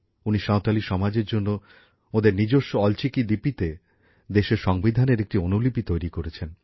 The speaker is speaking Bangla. উনি সাঁওতালি সমাজের জন্য ওদের নিজস্ব অলচিকি লিপিতে দেশের সংবিধানের একটি অনুলিপি তৈরি করেছেন